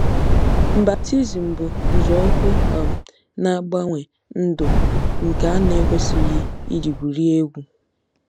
Baptizim bụ nzọụkwụ um na-agbanwe ndụ nke a na-ekwesịghị iji gwurie egwu.